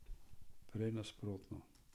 Prej nasprotno.